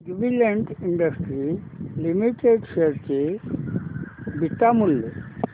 Jubilant industries limited share चे beta मूल्य